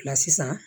sisan